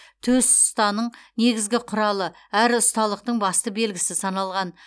төс ұстаның негізгі құралы әрі ұсталықтың басты белгісі саналған